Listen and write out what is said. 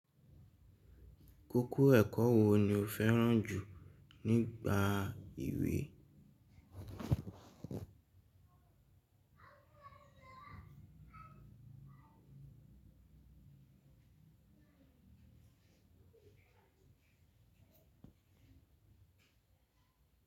Kóko ẹ̀kọ́ wo ni o fẹ́ràn jù nígbà ìwé?